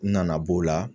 N nana b'o la